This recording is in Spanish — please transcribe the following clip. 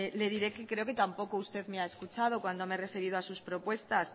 le diré que creo que tampoco usted me ha escuchado cuando me he referido a sus propuestas